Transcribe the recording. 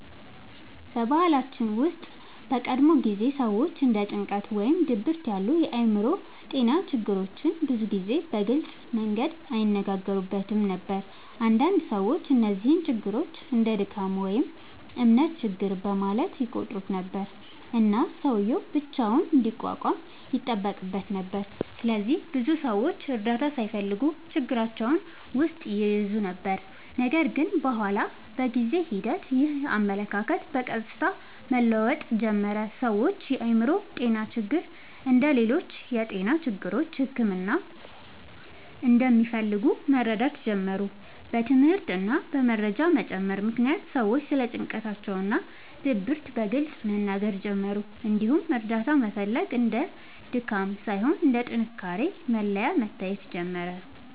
በባህላችን ውስጥ በቀድሞ ጊዜ ሰዎች እንደ ጭንቀት ወይም ድብርት ያሉ የአእምሮ ጤና ችግሮችን ብዙ ጊዜ በግልጽ መንገድ አይነጋገሩበትም ነበር። አንዳንድ ሰዎች እነዚህን ችግሮች እንደ “ድካም” ወይም “እምነት ችግር” በማለት ይቆጥሩ ነበር፣ እና ሰውዬው ብቻውን እንዲቋቋም ይጠበቅበት ነበር። ስለዚህ ብዙ ሰዎች እርዳታ ሳይፈልጉ ችግራቸውን ውስጥ ይይዙ ነበር። ነገር ግን በኋላ በጊዜ ሂደት ይህ አመለካከት በቀስታ መለወጥ ጀመረ። ሰዎች የአእምሮ ጤና ችግሮች እንደ ሌሎች የጤና ችግሮች ሕክምና እንደሚፈልጉ መረዳት ጀመሩ። በትምህርት እና በመረጃ መጨመር ምክንያት ሰዎች ስለ ጭንቀት እና ድብርት በግልጽ መናገር ጀመሩ፣ እንዲሁም እርዳታ መፈለግ እንደ ድካም ሳይሆን እንደ ጥንካሬ መለያ መታየት ጀመረ።